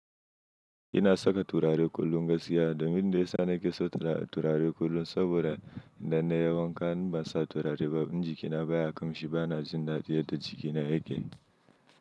Ina saka turare kullum gaskiya domin da ya sa nake so turare kullum saboda idan na yi wanka in ban sa turare ba in jikina baya kamshi bana jin dadi yadda jikina yake.